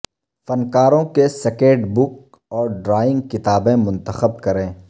فنکاروں کے sketch book اور ڈرائنگ کتابیں منتخب کریں